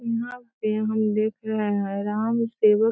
यहां पे हम देख रहे है राम सेवक --